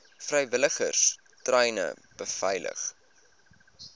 vrywilligers treine beveilig